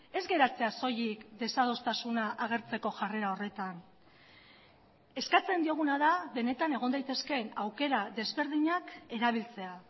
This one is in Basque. ez geratzea soilik desadostasuna agertzeko jarrera horretan eskatzen dioguna da benetan egon daitezkeen aukera desberdinak erabiltzea